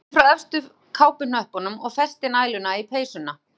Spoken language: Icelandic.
Bára hneppti frá efstu kápuhnöppunum og festi næluna í peysuna.